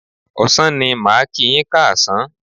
Ọ̀sán ni màá kíi yín káàsán.